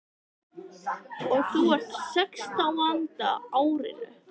Og þú ert á sextánda árinu.